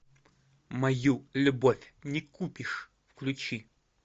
мою любовь не купишь включи